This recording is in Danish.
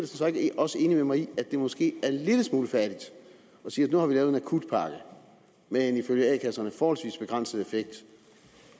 så ikke også enig med mig i at det måske er en lille smule fattigt at sige at nu har vi lavet en akutpakke med en ifølge a kasserne forholdsvis begrænset effekt